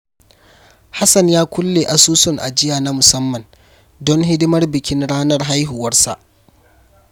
Hassan ya kulle asusun ajiya na musamman don hidimar bikin ranar haihuwarsa.